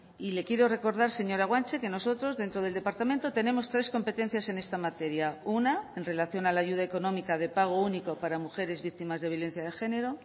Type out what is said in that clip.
y le quiero recordar señora guanche que nosotros dentro del departamento tenemos tres competencias en esta materia una en relación a la ayuda económica de pago único para mujeres víctimas de violencia de género